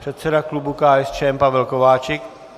Předseda klubu KSČM Pavel Kováčik.